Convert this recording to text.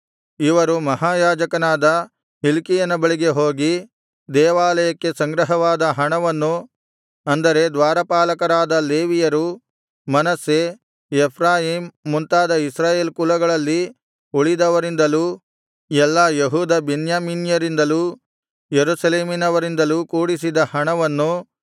ಇವರು ಮಹಾಯಾಜಕನಾದ ಹಿಲ್ಕೀಯನ ಬಳಿಗೆ ಹೋಗಿ ದೇವಾಲಯಕ್ಕಾಗಿ ಸಂಗ್ರಹವಾದ ಹಣವನ್ನು ಅಂದರೆ ದ್ವಾರಪಾಲಕರಾದ ಲೇವಿಯರು ಮನಸ್ಸೆ ಎಫ್ರಾಯೀಮ್ ಮುಂತಾದ ಇಸ್ರಾಯೇಲ್ ಕುಲಗಳಲ್ಲಿ ಉಳಿದವರಿಂದಲೂ ಎಲ್ಲಾ ಯೆಹೂದ ಬೆನ್ಯಾಮೀನ್ಯರಿಂದಲೂ ಯೆರೂಸಲೇಮಿನವರಿಂದಲೂ ಕೂಡಿಸಿದ್ದ ಹಣವನ್ನು